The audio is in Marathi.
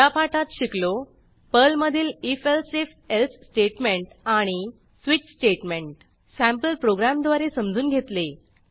या पाठात शिकलो पर्लमधील if elsif एल्से स्टेटमेंट आणि स्विच स्टेटमेंट सँपल प्रोग्रॅमद्वारे समजून घेतले